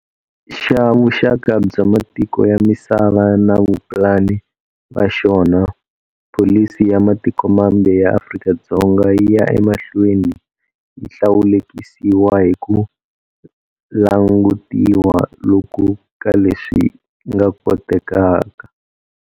Xa vuxaka bya matiko ya misava na vapulani va xona, pholisi ya matiko mambe ya Afrika-Dzonga yi ya emahlweni yi hlawulekisiwa hi ku langutiwa loku ka leswi nga kotekaka.